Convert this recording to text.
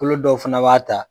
Kolo dɔw fana b'a ta